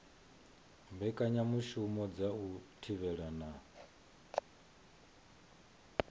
mbekanyamushumo dza u thivhela na